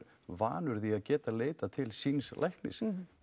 vanur að geta leitað til síns læknis